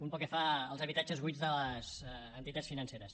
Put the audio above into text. un pel que fa als habitatges buits de les entitats financeres